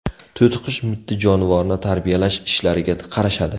To‘tiqush mitti jonivorni tarbiyalash ishlariga qarashadi.